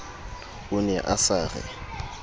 o ne a sa re